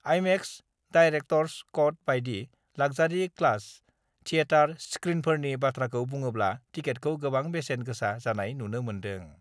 IMAX, director's cut बायदि luxury class theatre स्क्रिनफोरनि बाथ्राखौ बुङोब्ला टिकेटखौ गोबां बेसेन गोसा जानाय नुनो मोन्दों।